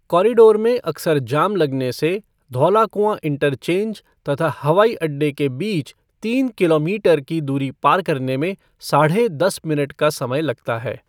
Corridor में अक्सर जाम लगने से धौलाकुंआ इंटरचेंज तथा हवाईअड्डे के बीच तीन किलोमीटर की दूरी पार करने में साढ़े दस मिनट का समय लगता है।